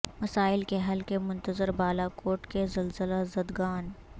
مسائل کے حل کے منتظر بالا کوٹ کے زلزلہ زدگان